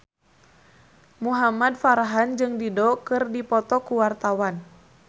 Muhamad Farhan jeung Dido keur dipoto ku wartawan